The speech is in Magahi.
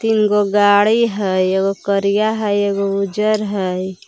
तिनगो गाड़ी हइ एगो करिया हइ एगो उजर हइ।